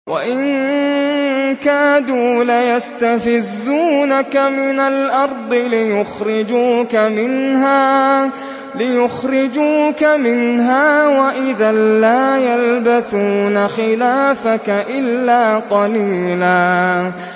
وَإِن كَادُوا لَيَسْتَفِزُّونَكَ مِنَ الْأَرْضِ لِيُخْرِجُوكَ مِنْهَا ۖ وَإِذًا لَّا يَلْبَثُونَ خِلَافَكَ إِلَّا قَلِيلًا